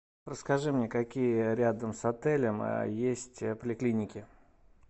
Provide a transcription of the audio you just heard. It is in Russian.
расскажи мне какие рядом с отелем есть поликлиники